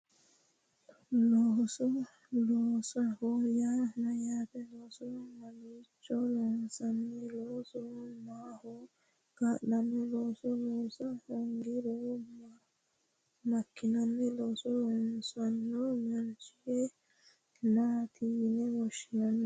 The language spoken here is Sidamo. Looso loosoho yaa mayyaate looso mamiicho loonsanni loosu maaho kaa'lanno looso loosa hoongiro makkinanni looso loosanno mancho maati yine woshshinanni